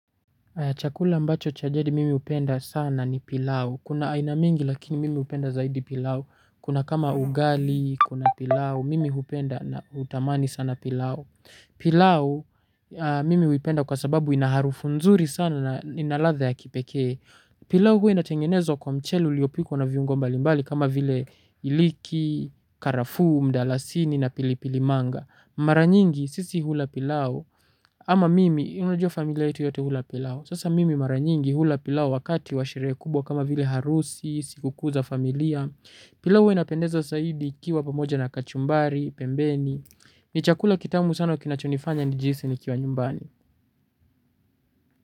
Chakula ambacho cha jadi mimi hupenda sana ni pilau. Kuna aina mingi lakini mimi hupenda zaidi pilau. Kuna kama ugali, kuna pilao. Mimi hupenda na hutamani sana pilau. Pilau mimi huipenda kwa sababu ina harufu nzuri sana na ina ladha ya kipekee. Pilau huwa inatengenezwa kwa mchele uliopikwa na viungo mbalimbali kama vile iliki, karafuu, mdalasini na pilipilimanga. Mara nyingi sisi hula pilau. Ama mimi unajua familia yetu yote hula pilau. Sasa mimi mara nyingi hula pilau wakati wa sherehe kubwa kama vile harusi sikukuu za familia. Pilau huwa inapendeza zaidi ikiwa pamoja na kachumbari, pembeni. Ni chakula kitamu sana kinachonifanya nijihisi nikiwa nyumbani.